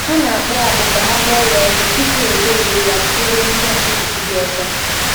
Ha na-akpụ akpụ ka ha kpọọ ya ọkụ, tupu egwerie ya bụrụ ntụ ntụ fufu dị ọcha.